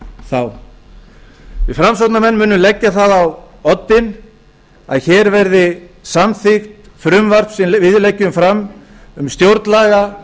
þá við framsóknarmenn munum setja það á oddinn að hér verði samþykkt frumvarp sem við leggjum fram um stjórnlagaþing